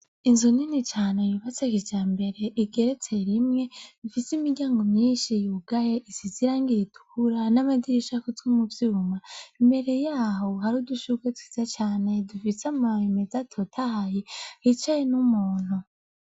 Inzu nini cane yubatse kijambere igeretse rimwe, ifis'imiryango myinshi yugay'isiz'irangi ritukura n'amadirish'akozwe mu vyuma, imbere yaho hari n'udushurwe twiza cane, dufis'amababi mez'atotahaye hicaye n'umuntu.